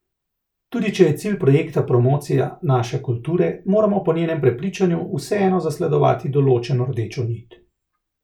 Tudi če je cilj projekta promocija naše kulture, moramo po njenem prepričanju vseeno zasledovati določeno rdečo nit.